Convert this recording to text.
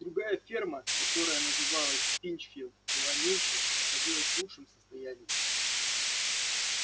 другая ферма которая называлась пинчфилд была меньше но находилась в лучшем состоянии